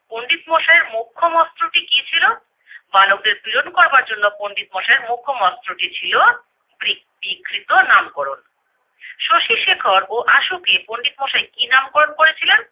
পন্ডিত মশাইয়ের মোক্ষম অস্ত্রটি কি ছিল? বালকদের পীড়ন করবার জন্য পন্ডিত মশাইয়ের মোক্ষম অস্ত্রটি ছিল ব্রি ক্রি কৃত নামকরণ । শশীশেখর ও আশুকে পন্ডিত মশাই কি নামকরণ করেছিলেন?